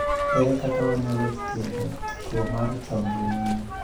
Ere kaka wanyalo thiedho tuo mar chong' e mine?